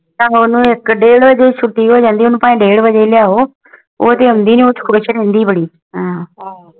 ਉਹਨੂੰ ਇਕ ਡੇਢ ਵਜੇ ਹੈ ਛੁਟੀ ਹੋ ਜਾਂਦੀ ਉਹਨੂੰ ਡੇਢ ਬਜਾਏ ਹੈ ਲਈ ਆਓ ਉਹਦੇ ਆਉਣ ਦੀ ਖੁਸ਼ ਰਹਿੰਦੀ ਬੜੀ